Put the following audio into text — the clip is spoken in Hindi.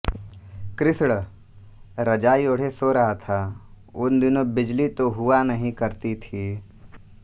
कृष्ण रजाई ओढे सो रहा था उन दिनों बिजली तो हुआ नहीं करती थी